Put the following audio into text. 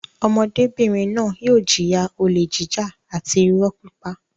Ọmọdébìnrin náà yóò jìyà olè jíjà àti ìrọ́ pípa.